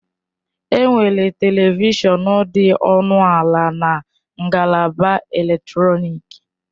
Enwere Televishọn dị ọnụ ala na ngalaba eletrọnịkị.